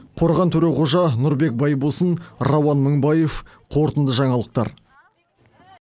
қорған төреқожа нұрбек байбосын рауан мыңбаев қорытынды жаңалықтар